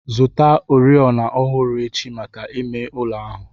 Zụta oriọna ọhụrụ echi maka ime ụlọ ahụ.